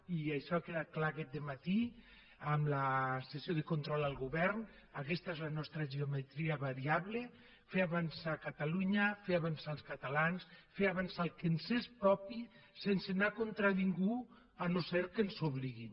i això ha quedat clar aquest dematí en la sessió de control al govern aquesta és la nostra geometria variable fer avançar catalunya fer avançar els catalans fer avançar el que ens és propi sense anar contra ningú si no és que ens hi obliguen